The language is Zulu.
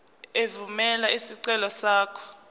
evumela isicelo sakho